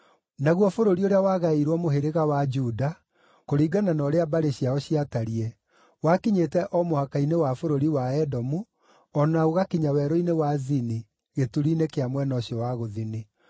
Naguo bũrũri ũrĩa wagaĩirwo mũhĩrĩga wa Juda, kũringana na ũrĩa mbarĩ ciao ciatariĩ, wakinyĩte o mũhaka-inĩ wa bũrũri wa Edomu, o na ũgakinya werũ-inĩ wa Zini gĩturi-inĩ kĩa mwena ũcio wa gũthini.